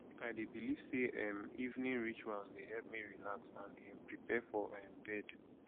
i dey believe say um evening rituals dey help me relax and um prepare for um bed